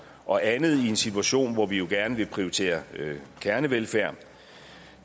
og andet i en situation hvor vi jo gerne vil prioritere kernevelfærd